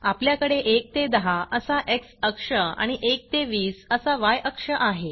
आपल्याकडे 1 ते 10 असा एक्स अक्ष आणि 1 ते 20 असा य अक्ष आहे